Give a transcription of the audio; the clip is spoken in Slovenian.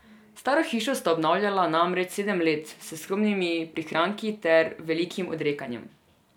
Staro hišo sta obnavljala namreč sedem let, s skromnimi prihranki ter velikim odrekanjem.